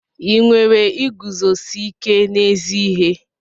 Ị nwere iguzosi ike n'ezi ihe?